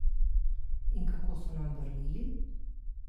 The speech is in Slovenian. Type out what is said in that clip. In kako so nam vrnili?